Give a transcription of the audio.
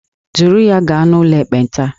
Duru ya gaa n'ụlọ ekpenta!